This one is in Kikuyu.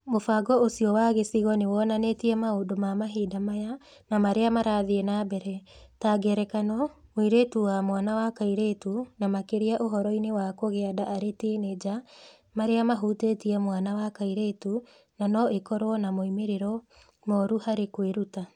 Mũbango ũcio wa gĩcigo nĩ wonanĩtie maũndũ ma mahinda maya na marĩa marathiĩ na mbere; ta ngerekano, moritũ ma mwana wa kairĩtu na makĩria ũhoro-inĩ wa kũgĩa nda arĩ tinĩnja, marĩa mahutĩtie mwana wa kairĩtu na no ikorũo na moimĩrĩro moru harĩ kwĩruta.